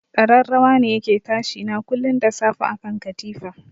Kararrawa ne yake tashi na kullun da safe akan katifa.